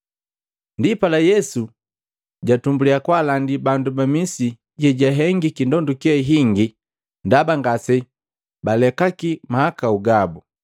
Ndipala Yesu jatumbuliya kwaalakali bandu ba misi ye jwahengiki ndonduke yingi ndaba ngasebalekaki mahakau gabu.